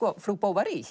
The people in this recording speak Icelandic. frú